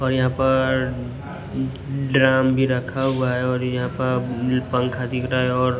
और यहां पर ड्राम भी रखा हुआ है और यहां पर पंखा दिख रहा है और--